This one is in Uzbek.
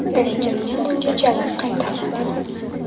Lekin men bunga javob qaytarmadim.